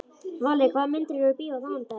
Valli, hvaða myndir eru í bíó á mánudaginn?